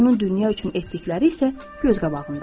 Onun dünya üçün etdikləri isə göz qabağındadır.